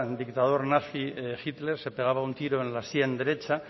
dictador nazi hitler se pegaba un tiro en la sien derecha